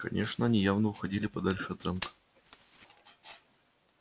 конечно они явно уходили подальше от замка